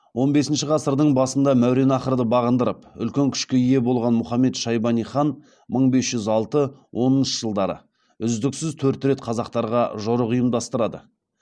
он бесінші ғасыр басында мәуереннахрды бағындырып үлкен күшке ие болған мұхаммед шайбани хан мың бес жүз алтыншы оныншы жылдары үздіксіз төрт рет қазақтарға жорық ұйымдастырады